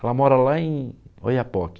Ela mora lá em Oiapoque.